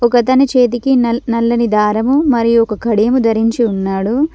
ఒకతని చేతికి నల్ నల్లని దారము మరియు ఒక కడియము ధరించి ఉన్నాడు.